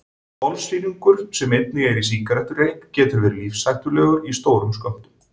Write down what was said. Kolsýrlingur sem einnig er í sígarettureyk getur verið lífshættulegur í stórum skömmtum.